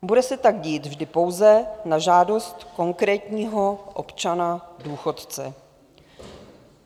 Bude se tak dít vždy pouze na žádost konkrétního občana důchodce.